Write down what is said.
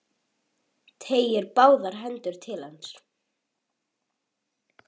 Teygir báðar hendur til hans.